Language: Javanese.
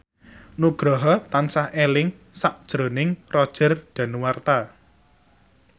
Nugroho tansah eling sakjroning Roger Danuarta